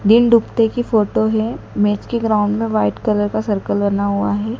दिन डूबते की फोटो है मैच के ग्राउंड में वाइट कलर का सर्किल बना हुआ है।